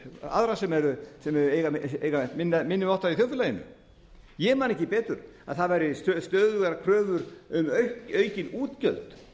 aðra sem eru minni máttar í þjóðfélaginu ég man ekki betur en það væru stöðugar kröfur um aukin útgjöld